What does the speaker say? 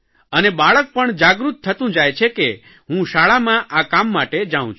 અને બાળક પણ જાગૃત થતું જાય છે કે હું શાળામાં આ કામ માટે જાઉં છું